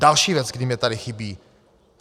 Další věc, která mi tady chybí.